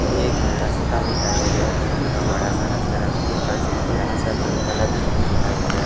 एक रास्ता दिखाई दे रहा है। इसके पास बड़ा सा एक तीन तल्ला बिल्डिंग दिखाई दे रहा है।